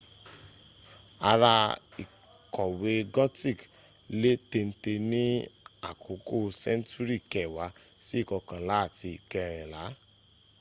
àrà ìkọ̀wé gothic lé téńté ní àkókò séńtúrì kẹwàá sí ikọkànlá àti ikẹrìnlá